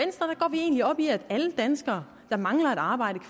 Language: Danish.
egentlig op i at alle danskere der mangler et arbejde